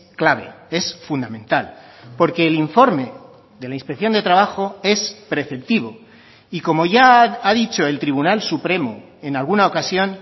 clave es fundamental porque el informe de la inspección de trabajo es preceptivo y como ya ha dicho el tribunal supremo en alguna ocasión